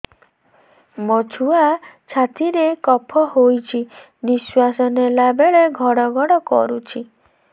ମୋ ଛୁଆ ଛାତି ରେ କଫ ହୋଇଛି ନିଶ୍ୱାସ ନେଲା ବେଳେ ଘଡ ଘଡ କରୁଛି